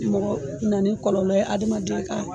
Mɔgɔ na ni kɔlɔlɔ ye hadamaden ka